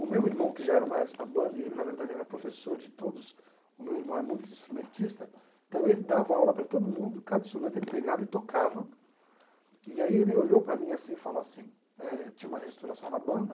O meu irmão, que já era o maestro da banda, e ele na verdade era professor de todos, o meu irmão é muito instrumentista, então ele dava aula para todo mundo, cada instrumento ele pegava e tocava, e aí ele olhou para mim assim e falou assim, eh tinha uma reestruturação na banda,